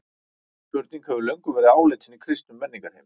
Þessi spurning hefur löngum verið áleitin í kristnum menningarheimi.